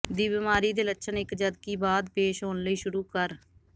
ਦੀ ਬਿਮਾਰੀ ਦੇ ਲੱਛਣ ਇੱਕ ਜਦਕਿ ਬਾਅਦ ਪੇਸ਼ ਹੋਣ ਲਈ ਸ਼ੁਰੂ ਕਰ